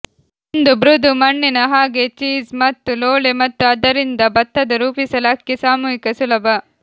ಒಂದು ಮೃದು ಮಣ್ಣಿನ ಹಾಗೆ ಚೀಸ್ ಮತ್ತು ಲೋಳೆ ಮತ್ತು ಆದ್ದರಿಂದ ಭತ್ತದ ರೂಪಿಸಲು ಅಕ್ಕಿ ಸಾಮೂಹಿಕ ಸುಲಭ